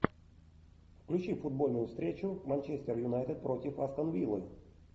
включи футбольную встречу манчестер юнайтед против астон виллы